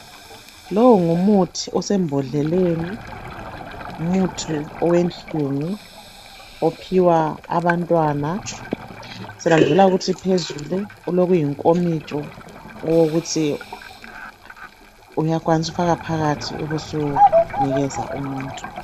Lowu ngumuthi osembodleleni ngumuthi owenhlungu ophiwa abantwana. Phezulu ulokuyinkomitsho okokuthi uyakwanisa ukufaka phakathi ubusunikeza umuntu.